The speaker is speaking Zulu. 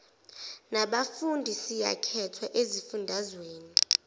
nabafundi siyakhethwa ezifundazweni